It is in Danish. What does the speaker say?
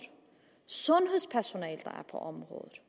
sundhedspersonalet der er på området